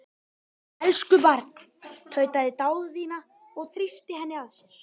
Elsku barn, tautaði Daðína og þrýsti henni að sér.